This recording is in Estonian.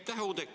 Aitäh!